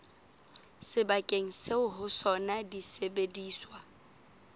sebakeng seo ho sona disebediswa